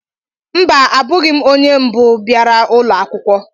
Mba, abụghị m onye mbụ bịara ụlọ akwụkwọ.